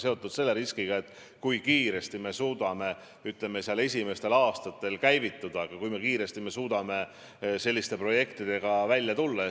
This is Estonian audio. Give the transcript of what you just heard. Me ei tea, kui kiiresti me suudame, ütleme, esimestel aastatel käivituda, kui kiiresti me suudame selliste projektidega välja tulla.